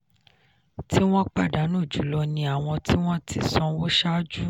tí wọn pàdánù jùlọ ni àwọn tí wọ́n ti sanwó ṣáájú.